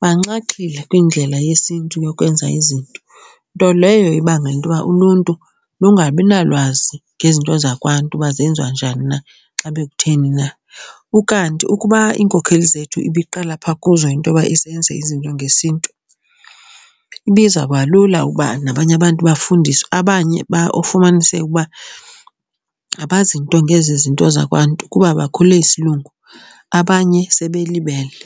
banxaxhile kwindlela yesiNtu yokwenza izinto. Nto leyo ibangela into yoba uluntu lungabi nalwazi ngezinto zakwaNtu uba zenziwa njani na xa bekutheni na. Ukanti ukuba iinkokheli zethu ibiqala pha kuzo into yoba zenze izinto ngesiNtu ibizawubalula ukuba nabanye abantu bafundiswe abanye ufumaniseke ukuba abazi nto ngezi zinto zakwaNtu kuba bakhule isiLungu abanye sebelibele.